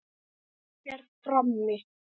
Páll er frammi.